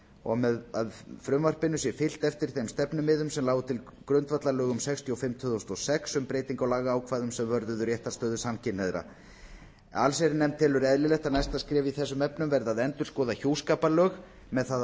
og með frumvarpinu sé fylgt eftir þeim stefnumiðum sem lágu til grundvallar lögum númer sextíu og fimm tvö þúsund og sex um breytingu á lagaákvæðum er varða réttarstöðu samkynhneigðra allsherjarnefnd telur eðlilegt að næsta skref í þessum efnum verði að endurskoða hjúskaparlög með það að